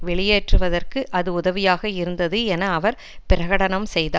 வெளியேற்றுவதற்கு அது உதவியாக இருந்தது என அவர் பிரகடனம் செய்தார்